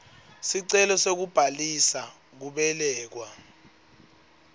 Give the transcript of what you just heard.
sicelo sekubhalisa kubelekwa